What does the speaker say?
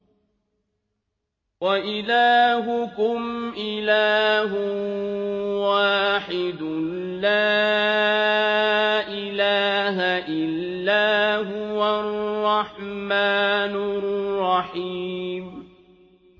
وَإِلَٰهُكُمْ إِلَٰهٌ وَاحِدٌ ۖ لَّا إِلَٰهَ إِلَّا هُوَ الرَّحْمَٰنُ الرَّحِيمُ